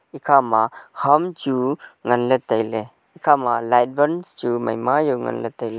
ekhama ham chu nganley tailey ekhama light bulb chu maima yaw nganley tailey.